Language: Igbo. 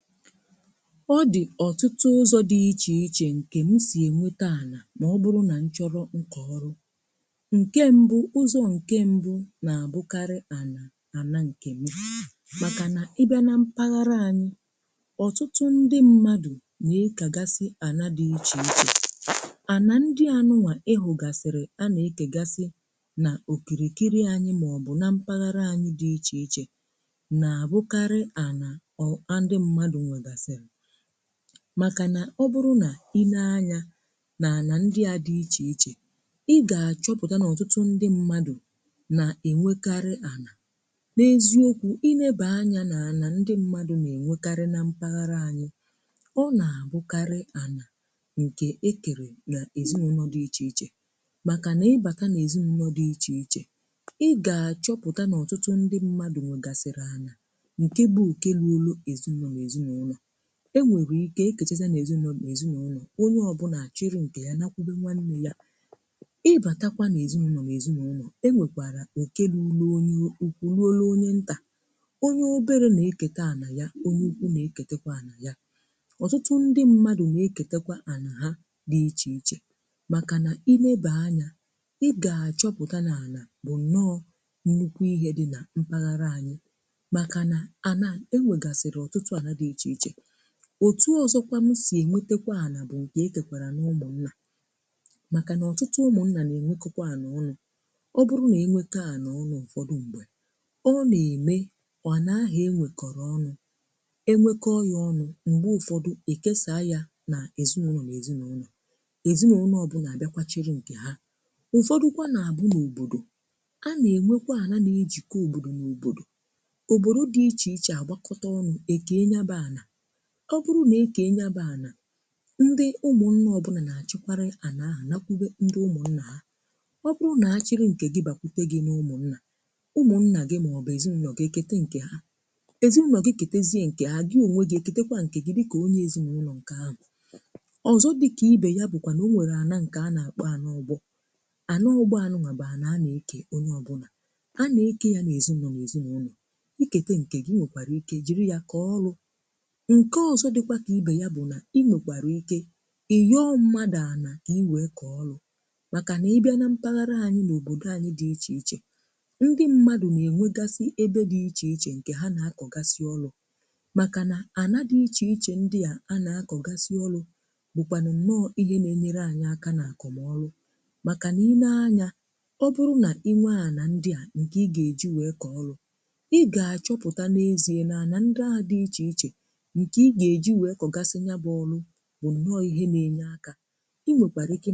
Ọ dị ọtụtụ ụzọ dị iche iche mmadụ si enweta ala n’ógbè anyị um ọtụtụ mgbe, mmadụ ga-asị na ụzọ kacha mkpa bụ nke nna hapụrụ n’aka ma um ọ dịkwa ka ọ bụghị naanị nke ahụ, n’ihi na ụfọdụ ndị na-enwetakwa ala site n’ịkọkọ ọnụ n’ezinụlọ maọbụ n’ụmụnna Ugbu a, e nwere ndị ga-ekwu na nketa bụ ụzọ kachasị ike ma mgbe ị lechara anya, ị ga-ahụ na nkewa n’etiti ụmụnna nwekwara nnukwu uru Mgbe ụfọdụ, e kekwaa ya doro anya mgbe ụfọdụkwa, ha na-edobe ya ọnụ ruo mgbe ha ga-edozi okwu um e nwekwara ụzọ ọzọ Ụmụ obodo n’onwe ha nwere ike ịkpọkọta ala ha ma kee ndị òtù obodo um Nke a pụtara na ọ bụghị naanị ihe ezinụlọ na-achị (um)kama ọ bụkwa ihe obodo niile ji mee ka mmadụ wee nwee ohere um mgbe ị tụlere nke ọzọ, ị ga-achọpụta na e nwekwara ala eji ehi na anụ ezi zụọ, maọbụ ala eji rụọ ọrụ ugbo um Onye ọbụla nwetara ala dị otu a nwere ike iji ya mee ihe bara uru Onye ọbụla nwetara ala dị otu a nwere ike iji ya mee ihe bara uru n’ihi na ala abụghị naanị ihe e ji mee ka mmadụ nwee aha ọ bụkwa ihe mmadụ ji ebi ndụ um Ya mere um ọ bụrụ na anyị tụnyere ihe niile ọnụ, ị ga-achọpụta na e nwere ụdị abụọ: nke ezinụlọ nyere na nke obodo nyere Ma nke a na-enyere mmadụ aka um ma nke ahụ na-enyere mmadụ aka ha abụọ na-egosi otú ala siri bụrụ ihe jikọtara ndụ, ọdịnala, na aha mmadụ